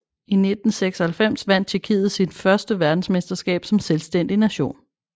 I 1996 vandt Tjekkiet sit føste verdensmesterskab som selvstændig nation